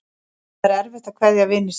Það er erfitt að kveðja vini sína.